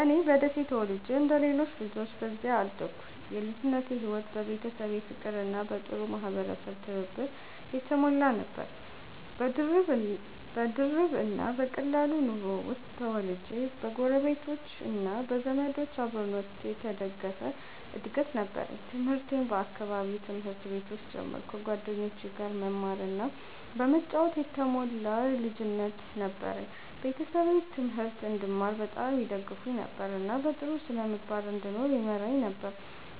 እኔ በደሴ ተወልጄ እንደ ሌሎች ልጆች በዚያ አደግኩ። የልጅነቴ ሕይወት በቤተሰብ ፍቅርና በጥሩ የማህበረሰብ ትብብር የተሞላ ነበር። በድርብ እና በቀላል ኑሮ ውስጥ ተወልጄ በጎረቤቶች እና በዘመዶች አብሮነት የተደገፈ እድገት ነበረኝ። ትምህርቴን በአካባቢው ትምህርት ቤቶች ጀመርኩ፣ ከጓደኞቼ ጋር በመማር እና በመጫወት የተሞላ ልጅነት ነበረኝ። ቤተሰቤ ትምህርት እንድማር በጣም ይደግፉኝ ነበር፣ እና በጥሩ ስነ-ምግባር እንድኖር ይመራኝ ነበር።